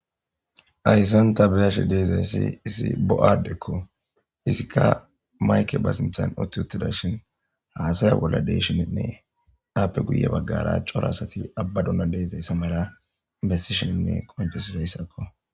Ayssan ta beyashi deezayssi isi bo7addekko isikka mayke baasinthan utti uttida shin haasaya bolla deshininne aappe guye baggara coro asati abbaduna deezayssa mala bessi shinnne qonfesisayssakko